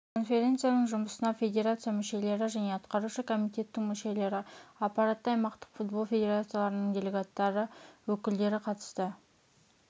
конференцияның жұмысына федерация мүшелері және атқарушы комитеттің мүшелері аппараты аймақтық футбол федерацияларының делегаттары өкілдері қатысты